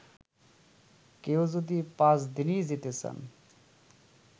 কেউ যদি পাঁচদিনই যেতে চান